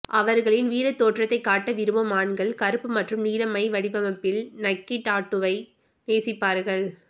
அவர்களின் வீர தோற்றத்தை காட்ட விரும்பும் ஆண்கள் கருப்பு மற்றும் நீல மை வடிவமைப்பில் நக்கி டாட்டூவை நேசிப்பார்கள்